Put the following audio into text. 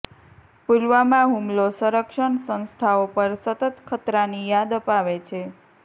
પુલવામા હુમલો સંરક્ષણ સંસ્થાઓ પર સતત ખતરાની યાદ અપાવે છે